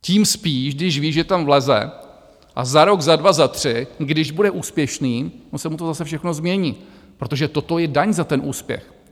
Tím spíš, když ví, že tam vleze a za rok, za dva, za tři, když bude úspěšný, ono se mu to zase všechno změní, protože toto je daň za ten úspěch.